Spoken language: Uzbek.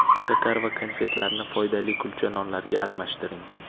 Shakar va konfetlarni foydali kulcha nonlarga almashtiring.